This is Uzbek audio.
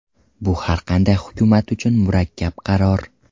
Bu har qanday hukumat uchun murakkab qaror.